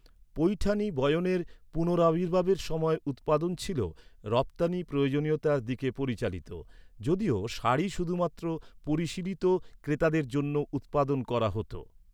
পৈঠানি বয়নের পুনরাবির্ভাবের সময় উৎপাদন ছিল, রপ্তানি প্রয়োজনীয়তার দিকে পরিচালিত। যদিও শাড়ি শুধুমাত্র পরিশীলিত ক্রেতাদের জন্য উত্পাদন করা হতো।